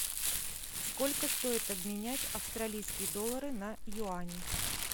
сколько стоит обменять австралийские доллары на юани